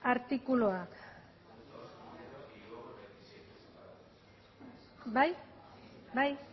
artikuluak bai bai